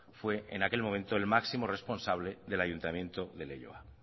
fue en aquel momento el máximo responsable del ayuntamiento de leioa